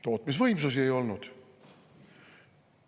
Tootmisvõimsusi ei olnud.